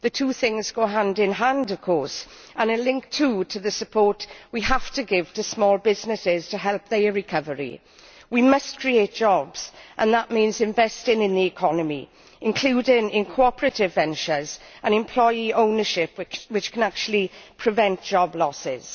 The two things go hand in hand of course and are linked, too, to the support we have to give to small businesses to help their recovery. We must create jobs and that means investing in the economy, including in cooperative ventures and employee ownership which can actually prevent job losses.